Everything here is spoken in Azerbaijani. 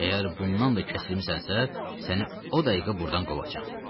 Əgər bundan da kəsilmisənsə, səni o dəqiqə burdan qovacam.